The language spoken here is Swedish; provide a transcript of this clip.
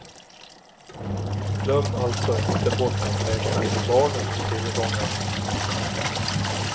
Glöm alltså inte bort att räkna in barnens tillgångar.